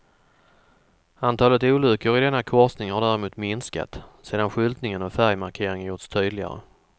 Antalet olyckor i denna korsning har därefter minskat, sedan skyltningen och färgmarkeringen gjorts tydligare.